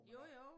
Jo jo